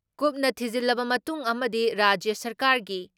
ꯀꯨꯞꯅ ꯊꯤꯖꯤꯜꯂꯕ ꯃꯇꯨꯡ ꯑꯃꯗꯤ ꯔꯥꯖ꯭ꯌ ꯁꯔꯀꯥꯔꯒꯤ